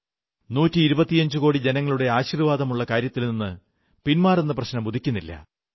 നൂറ്റിയിരുപത്തിയഞ്ചുകോടി ജനങ്ങളുടെ ആശീർവ്വാദമുള്ള കാര്യത്തിൽ നിന്നു പിന്മാറുന്ന പ്രശ്നമേയുദിക്കുന്നില്ല